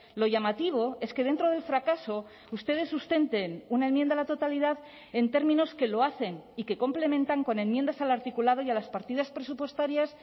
lo llamativo es que dentro del fracaso ustedes sustenten una enmienda a la totalidad en términos que lo hacen y que complementan con enmiendas al articulado y a las partidas presupuestarias